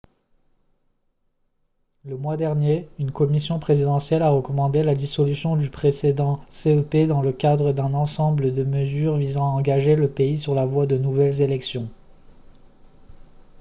le mois dernier une commission présidentielle a recommandé la dissolution du précédent cep dans le cadre d'un ensemble de mesures visant à engager le pays sur la voie de nouvelles élections